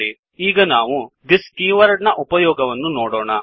httpwwwspoken tutorialಒರ್ಗ್ ಈಗ ನಾವು thisದಿಸ್ ಕೀವರ್ಡ್ ನ ಉಪಯೋಗವನ್ನು ನೋಡೋಣ